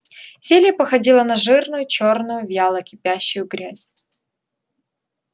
зелье походило на жирную чёрную вяло кипящую грязь